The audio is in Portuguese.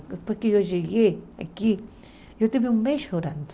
Depois que eu cheguei aqui, eu tive um mês chorando.